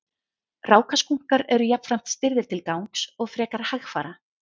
rákaskunkar eru jafnframt stirðir til gangs og frekar hægfara